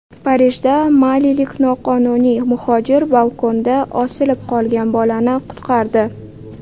Parijda malilik noqonuniy muhojir balkonda osilib qolgan bolani qutqardi .